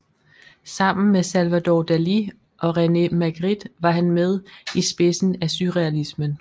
Sammen med Salvador Dalí og René Magritte var han med i spidsen af surrealismen